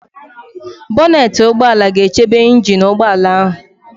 Bonetị ụgbọala ga-echebe ịnjin nke ụgbọala ahụ